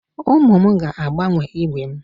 Ụmụ m ga-agbanwe ígwè m